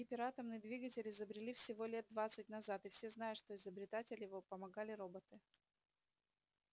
ведь гиператомный двигатель изобрели всего лет двадцать назад и все знают что изобретатели его помогали роботы